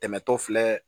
Dɛmɛtɔ filɛ